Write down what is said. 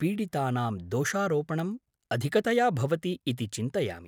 पीडितानां दोषारोपणम् अधिकतया भवति इति चिन्तयामि।